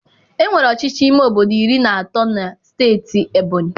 Enwere ọchịchị ime obodo iri na atọ na Steeti Ebonyị.